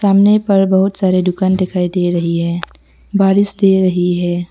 सामने पर बहुत सारे दुकान दिखाई दे रही है। बारिश दे रही है।